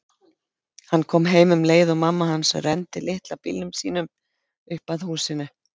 Hann kom heim um leið og mamma hans renndi litla bílnum sínum upp að húsinu.